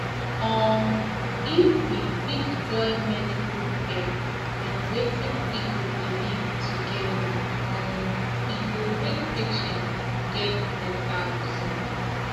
um if we fit join medical care and wetin people believe together um e go make patients get better result